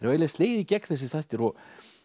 eiginlega slegið í gegn þessir þættir og